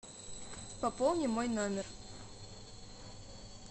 пополни мой номер